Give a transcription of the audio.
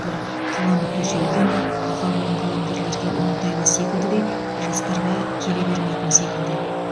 бұл қаламы төселген аға буын қаламгерлерге оңтайлы секілді де жастарға келе бермейтін секілді